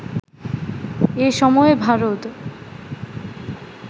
এ সময় ভারত